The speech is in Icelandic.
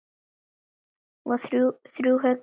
Þrjú högg í efsta mann.